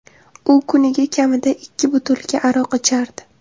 U kuniga kamida ikki butilka aroq ichardi.